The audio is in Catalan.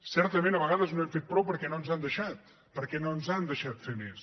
certament a vegades no hem fet prou perquè no ens han deixat perquè no ens han deixat fer més